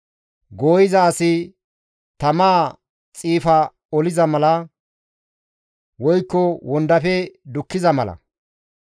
Gooyiza asi tamaa xiifa oliza mala woykko wondafe dukkiza mala;